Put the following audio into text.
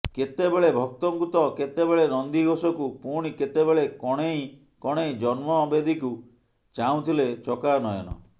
କେତେବେଳେ ଭକ୍ତଙ୍କୁ ତ କେତେବେଳେ ନନ୍ଦିଘୋଷକୁ ପୁଣି କେତେବେଳେ କଣେଇ କଣେଇ ଜନ୍ମବେଦୀକୁ ଚାହୁଁଥିଲେ ଚକାନୟନ